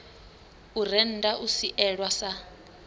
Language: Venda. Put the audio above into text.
u rennda u sielwa sa